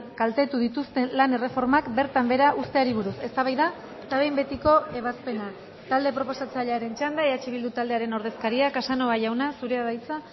kaltetu dituzten lan erreformak bertan behera uzteari buruz eztabaida eta behin betiko ebazpena talde proposatzailearen txanda eh bildu taldearen ordezkaria casanova jauna zurea da hitza